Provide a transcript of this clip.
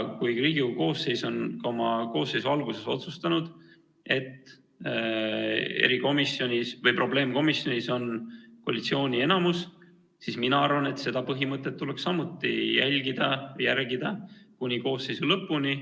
Kui Riigikogu koosseis on oma koosseisu alguses otsustanud, et probleemkomisjonis on koalitsiooni enamus, siis mina arvan, et seda põhimõtet tuleks järgida kuni koosseisu lõpuni.